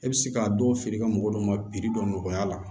E bɛ se k'a dɔ feere ka mɔgɔ dɔw ma dɔ nɔgɔya la